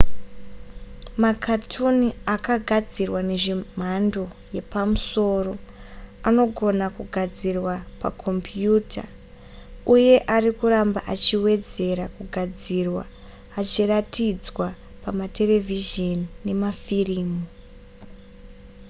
makatuni akagadzirwa zvemhando yepamusoro anogona kugadzirwa pakombiyuta uye ari kuramba achiwedzera kugadzirwa achiratidzwa pamaterevhizheni nemafirimu